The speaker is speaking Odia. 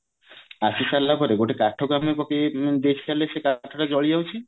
ଆସିସାରିଲା ପରେ ଗୋଟେ କାଠ କୁ ଆମେ ପକେଇ ଦେଖିସାରିଲେ ସେ କାଠ ତା ଜଲିଯାଉଛି